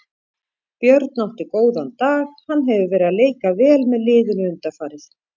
Björn átti góðan dag, hann hefur verið að leika vel með liðinu undanfarið.